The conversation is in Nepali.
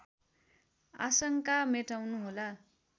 आशङ्का मेटाउनु होला